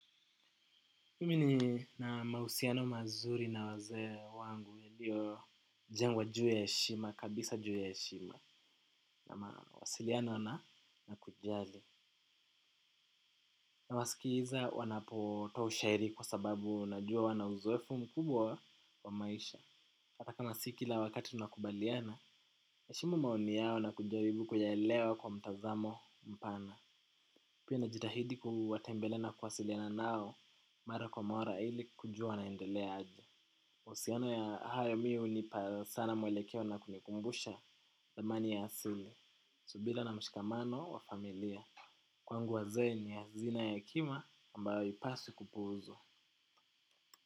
Mimi nina mausiano mazuri na wazee wangu yaliyo jengwa juu ya yeshima, kabisa juu ya yeshima. Na mawasiliano na na kujali. Nawasikiza wanapotoa ushairi kwa sababu najua wana uzoefu mkubwa wa maisha. Hata na si kila wakati tunakubaliana, heshimu maoni yao na kujaribu kuyaelewa kwa mtazamo mpana. Pia najitahidi kuwatembelea na kuwasiliana nao, mara kwa mara ili kujua wanaendelea aje. Usiano ya hayo mi hunipa sana mwelekeo na kunikumbusha dhamani ya asili subira na mshikamano wa familia. Kwangu wazee ni hazina ya hekima ambayo yupaswi kupuuzwa.